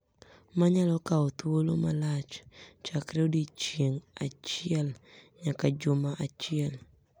ma nyalo kawo thuolo malach chakre odiechieng’ achiel nyaka juma achiel.